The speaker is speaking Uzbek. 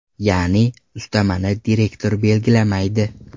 Ya’ni, ustamani direktor belgilamaydi.